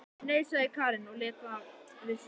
Nei, sagði Karen og lét þar við sitja.